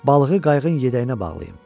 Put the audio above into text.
balığı qayığın yədəyinə bağlayım.